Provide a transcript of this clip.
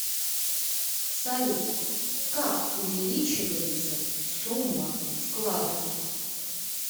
салют как увеличивается сумма вклада